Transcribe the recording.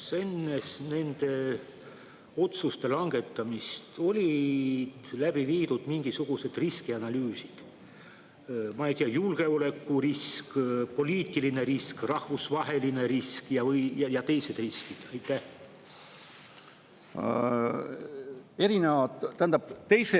Kas enne nende otsuste langetamist olid läbi viidud mingisugused riskianalüüsid, ma ei tea, julgeolekuriski, poliitilise riski, rahvusvahelise riski ja teiste riskide kohta?